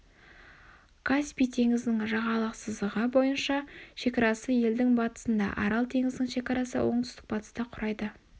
каспий теңізінің жағалық сызығы бойынша шекарасы елдің батысында арал теңізінің шекарасы оңтүстік батыста құрайды